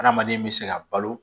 Adamaden bɛ se ka balo